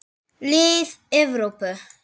Lið Evrópu.